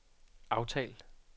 aftal